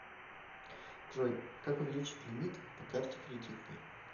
джой как увеличить лимит по карте кредитной